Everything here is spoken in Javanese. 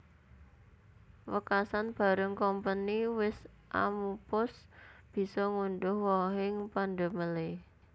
Wekasan bareng Kompeni wis amupus bisa ngundhuh wohing pandamelé